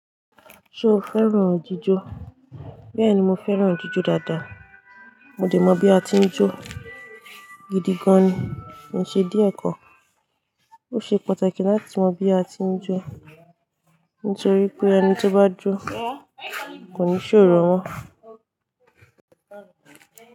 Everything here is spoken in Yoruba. Ṣo fẹ́ràn jíjọ? Bẹ́ẹ̀ni, mo fẹ́ràn jíjọ dáadáa. Mo dẹ̀ mọ bí a ti ń jó gidi gan ni, mo ṣe díẹ̀ ẹ́ kọ. Ó ṣe pàtàkì láti mọ bí a ti ń jó, nítorí pé ẹni tí ó bá jó kò ní ṣòro mọ́.